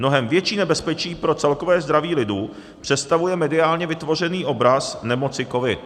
Mnohem větší nebezpečí pro celkové zdraví lidu představuje mediálně vytvořený obraz nemoci covid.